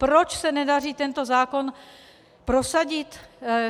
Proč se nedaří tento zákon prosadit?